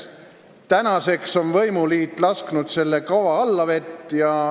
Tänaseks on võimuliit lasknud selle kava allavett.